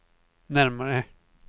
närmare